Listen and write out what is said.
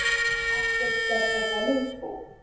Aftur skella þær upp úr.